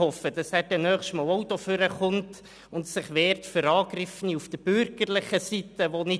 Ich hoffe, dass er bei einem nächsten Mal auch ans Mikrofon tritt und sich für nicht anwesende Angegriffene der bürgerlichen Seite wehrt.